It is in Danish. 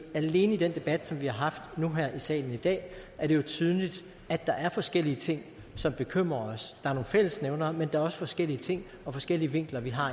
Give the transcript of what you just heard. alene i den debat som vi har haft nu her i salen i dag er det jo tydeligt at der er forskellige ting som bekymrer os der er nogle fællesnævnere men der er også forskellige ting og forskellige vinkler vi har